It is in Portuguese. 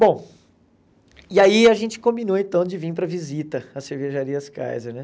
Bom, e aí a gente combinou então de vir para visita às cervejarias Kaiser, né?